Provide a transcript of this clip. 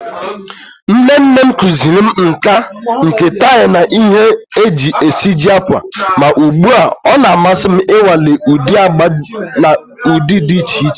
Nne nne m kụziiri m nkà nke tie na ihe e ji esiji ákwà, ma ugbu a ọ na-amasị m ịnwale ụdị agba na ụdị dị iche iche.